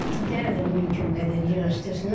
İtlər də mümkün qədər yığışdırsınlar.